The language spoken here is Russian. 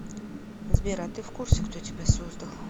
сбер а ты в курсе кто тебя создал